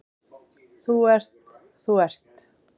Þú ert, þú ert.